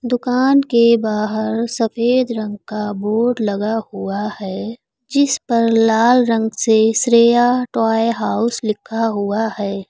दुकान के बाहर सफेद रंग का बोर्ड लगा हुआ है जिस पर लाल रंग से श्रेया टॉय हाउस लिखा हुआ है।